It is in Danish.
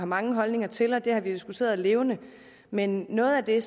mange holdninger til og det har vi diskuteret levende men noget af det